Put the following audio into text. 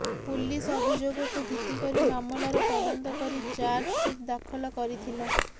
police ଅଭିଯୋଗକୁ ଭିତ୍ତି କରି ମାମଲାର ତଦନ୍ତ କରି ଚାର୍ଜସିଟ୍ ଦାଖଲ କରିଥିଲା